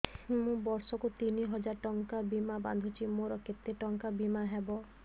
ମୁ ବର୍ଷ କୁ ତିନି ହଜାର ଟଙ୍କା ବୀମା ବାନ୍ଧୁଛି ମୋର କେତେ ଟଙ୍କାର ବୀମା ହବ